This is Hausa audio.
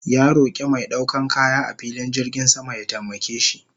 Ya roke mai daukan kaya a filin jirgin sama ya taimake shi